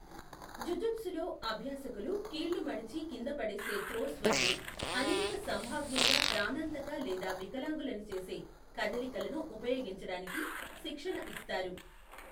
జుజుత్సులో, అభ్యాసకులు కీళ్లు మడిచి కింద పడేసే త్రోస్ వంటి అనేక, సంభావ్యంగా ప్రాణాంతక లేదా వికలాంగులను చేసే కదలికలను ఉపయోగించడానికి శిక్షణ ఇస్తారు.